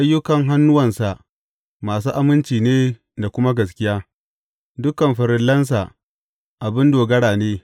Ayyukan hannuwansa masu aminci ne da kuma gaskiya; dukan farillansa abin dogara ne.